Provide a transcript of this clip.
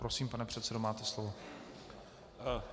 Prosím, pane předsedo, máte slovo.